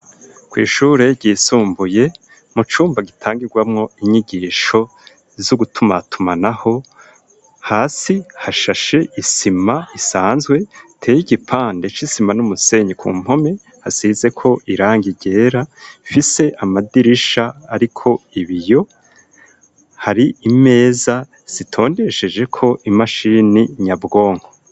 Kw'ishure ry'isumbuye mucumba gitangigwamwo inyigisho zo gutumatumanaho hasi hasashe isima isanzwe iteye igipande c'isima n'umusenyi ku mpompe hasize ko irangi ryera rifise amadirisha ariko ibiyo hari imeza zitondeshejeko imashini nyabwonko.